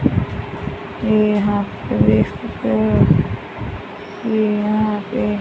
ये यहां पर एक ये यहां पे--